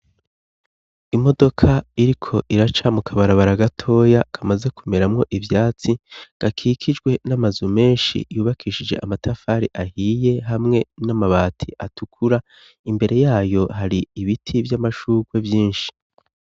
Imodoka iriko iraca mukabarabara gatoya, kamaze kumeramwo ivyatsi, gakikijwe n'amazu menshi yubakishije amatafari ahiye hamwe n'amabati atukura, imbere yayo hari ibiti vy'amashugwe vyinshi.